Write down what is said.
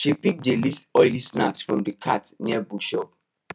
she pick the least oily snack from the cart near bookshop